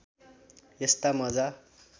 यस्ता मज्जा